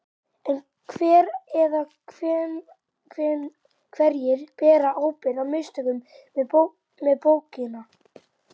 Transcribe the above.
En hver eða hverjir bera ábyrgð á mistökunum með bókina?